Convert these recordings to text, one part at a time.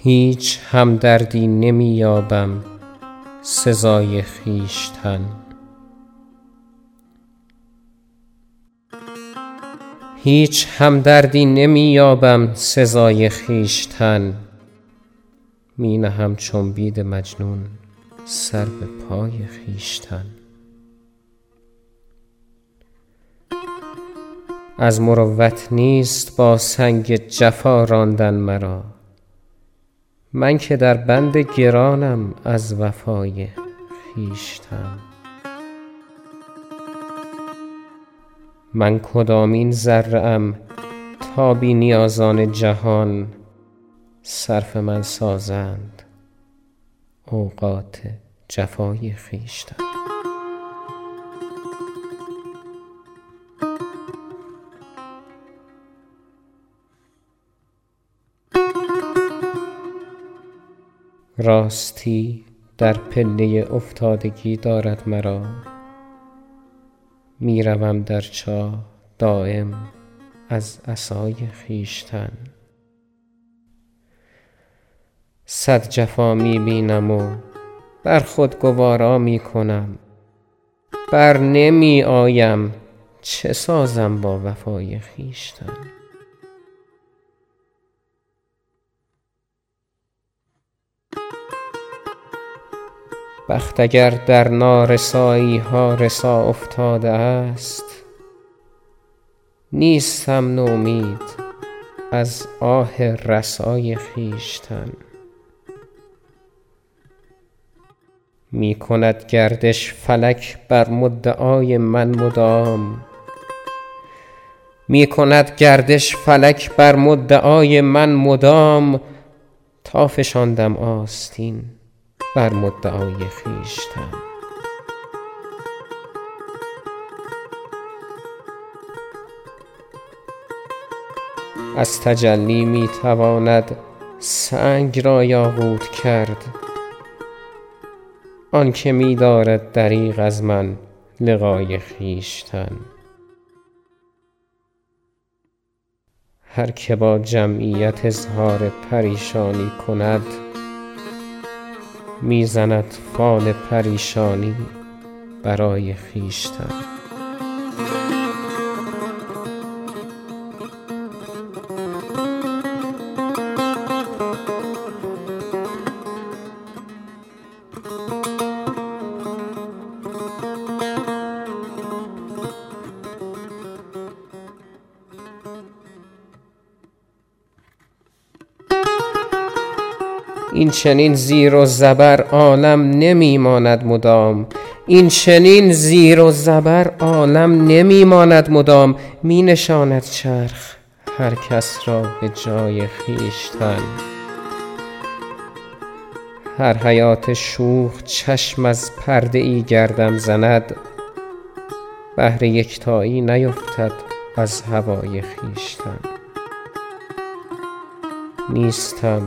هیچ همدردی نمی یابم سزای خویشتن می نهم چون بید مجنون سر به پای خویشتن از مروت نیست با سنگ جفا راندن مرا من که در بند گرانم از وفای خویشتن من کدامین ذره ام تا بی نیازان جهان صرف من سازند اوقات جفای خویشتن راستی در پله افتادگی دارد مرا می روم در چاه دایم از عصای خویشتن صد جفا می بینم و بر خود گوارا می کنم برنمی آیم چه سازم با وفای خویشتن بخت اگر در نارسایی ها رسا افتاده است نیستم نومید از آه رسای خویشتن می کند گردش فلک بر مدعای من مدام تا فشاندم آستین بر مدعای خویشتن از تجلی می تواند سنگ را یاقوت کرد آن که می دارد دریغ از من لقای خویشتن هر که با جمعیت اظهار پریشانی کند می زند فال پریشانی برای خویشتن این چنین زیر و زبر عالم نمی ماند مدام می نشاند چرخ هر کس را به جای خویشتن هر حباب شوخ چشم از پرده ای گردم زند بحر یکتایی نیفتد از هوای خویشتن نیستم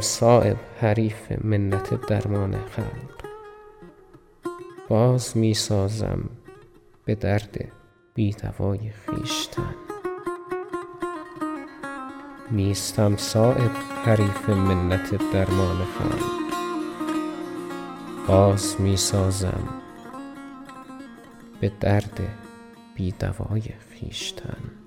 صایب حریف منت درمان خلق باز می سازم به درد بی دوای خویشتن